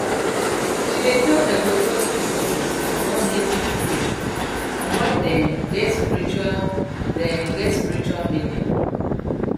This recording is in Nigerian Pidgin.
she dey tell ecotourism stories about native trees and why dem get spiritual dem get spiritual meaning